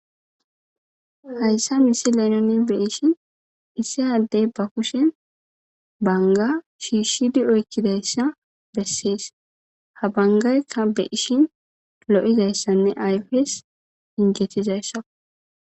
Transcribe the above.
Hayssa misi leenuni be ishin issi addey ba kushen banga shiishshidi oykkidayssa bessees ha bangaykka be ishin tolo7izayssanne ayfes ingetizayssa